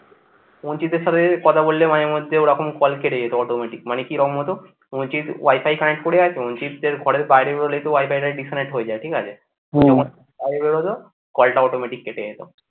কুঞ্চিতের সাথে যদি কথা বললে মাঝেমধ্যে ওরকম call কেটে যেত automatic মানে কিরম হতো কুঞ্চিত wifi connect করে আছে কুঞ্চিতদের ঘরের বাইরের বাইরে বেরালে কি wifi টা disconnect হয়ে যায় ঠিক আছে হম বাইরে বেরালো call টা automatic কেটে গেলো।